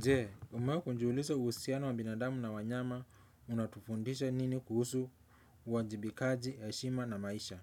Je, umewahi kujiuliza uhusiano wa binadamu na wanyama unatufundisha nini kuhusu uwajibikaji, heshima na maisha?